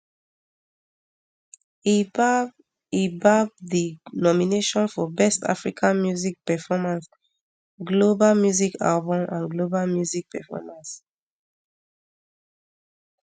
e gbab e gbab di nomination for best african music performance global music album and global music performance